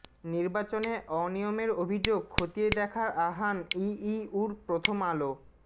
নির্বাচনে অনিয়মের অভিযোগ খতিয়ে দেখার আহ্বান ইইউর প্রথম আলো